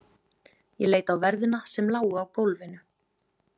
Ég leit á verðina sem lágu á gólfinu.